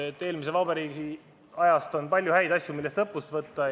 Eelmise vabariigi ajal oli palju häid asju, millest õppust võtta.